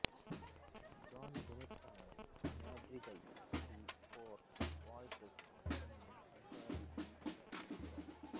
John ಬೆನೆಟ್ಟನ madrigals to four voices ಅನ್ನು ಸಂಪಾದಿಸಿ ಪ್ರಕಟಿಸಿದ್ದಾನೆ